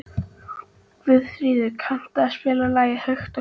Guðfríður, kanntu að spila lagið „Hægt og hljótt“?